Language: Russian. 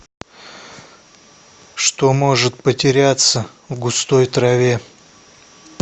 что может потеряться в густой траве